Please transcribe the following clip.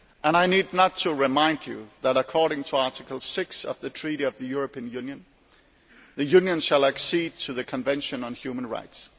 I need not remind you that, according to Article 6 of the Treaty on European Union, the Union shall accede to the Convention on Human Rights.